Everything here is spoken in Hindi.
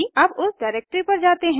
अब उस डिरेक्टरी पर जाते हैं